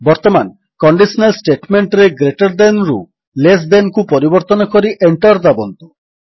ବର୍ତ୍ତମାନ କଣ୍ଡିଶନାଲ୍ ଷ୍ଟେଟମେଣ୍ଟରେ greater than ରୁ ଲେସ୍ thanକୁ ପରିବର୍ତ୍ତନ କରି ଏଣ୍ଟର୍ ଦାବନ୍ତୁ